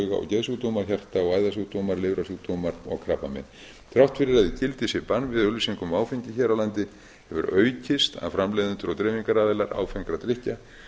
og geðsjúkdómar hjarta og æðasjúkdómar lifrarsjúkdómar og krabbamein þrátt fyrir að í gildi sé bann við auglýsingum á áfengi hér á landi hefur aukist að framleiðendur og dreifingaraðilar áfengra drykkja